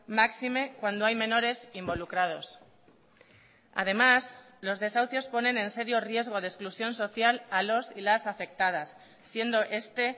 máxime cuando hay menores involucrados además los desahucios ponen en serio riesgo de exclusión social a los y las afectadas siendo este